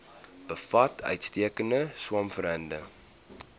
bevat uitstekende swamwerende